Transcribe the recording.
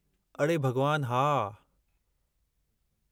अड़े भॻवान, हा!